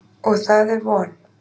Og það er von.